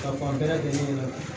Ka fan bɛɛ lajɛlen ɲɛna